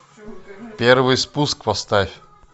первый спуск поставь